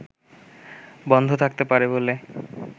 বন্ধ থাকতে পারে বলে